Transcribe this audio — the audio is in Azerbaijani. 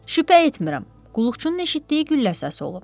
Şübhə etmirəm, qulluqçunun eşitdiyi güllə səsi olub.